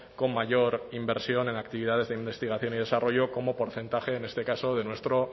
con mayor inversión en actividades de investigación y desarrollo como porcentaje en este caso de nuestro